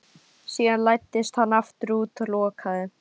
Síðan læddist hann aftur út og lokaði.